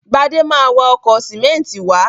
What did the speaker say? Gbadé ma wa ọkọ̀ sìmẹ́ńtì wá.